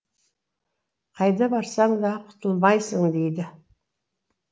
қайда барсаң да құтылмайсың дейді